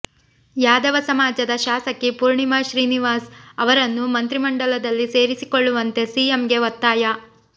ಯಾದವ ಸಮಾಜದ ಶಾಸಕಿ ಪೂರ್ಣಿಮಾ ಶ್ರೀನಿವಾಸ್ ಅವರನ್ನು ಮಂತ್ರಿಮಂಡಲದಲ್ಲಿ ಸೇರಿಸಿಕೊಳ್ಳುವಂತೆ ಸಿಎಂಗೆ ಒತ್ತಾಯ